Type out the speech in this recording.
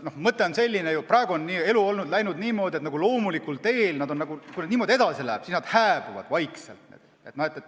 Praegu on elu läinud nagu loomulikul teel, kui niimoodi edasi läheb, siis need majad vaikselt hääbuvad.